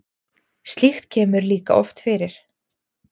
Slíkt kemur líka oft fyrir.